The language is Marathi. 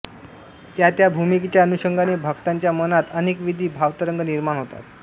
त्यात्या भूमिकेच्या अनुषंगाने भक्तांच्या मनांत अनेकविध भावतरंग निर्माण होतात